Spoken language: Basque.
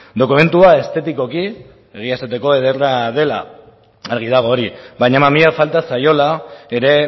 dokumentua estetikoki egia esateko ederra dela argi dago hori baina mamia falta zaiola ere